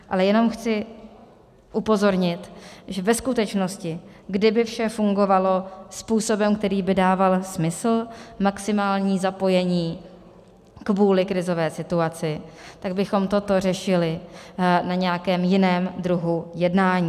Ale jenom chci upozornit, že ve skutečnosti, kdyby vše fungovalo způsobem, který by dával smysl, maximální zapojení kvůli krizové situaci, tak bychom toto řešili na nějakém jiném druhu jednání.